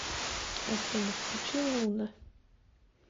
афина включи луна